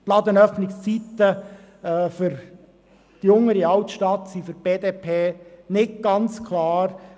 Für die BDP sind die erweiterten Ladenöffnungszeiten in der Unteren Altstadt nicht ganz klar.